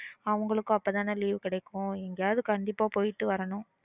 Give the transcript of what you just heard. அவங்களுக்கும் அப்போ தான leave கிடைக்கும் எங்கயாவது கண்டிப்பா போய்ட்டு வரணும்